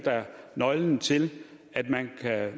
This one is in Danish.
nøglen til at man